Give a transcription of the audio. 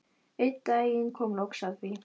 Einn daginn kom loks að því.